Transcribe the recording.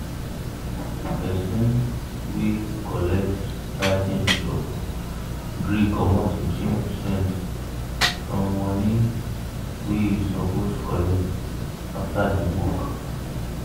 person wey colet writing job gree comot 15 percent from money wey he suppose collect after the work